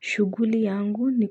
Shughuli yangu ni